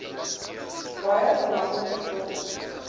baie belangrike rol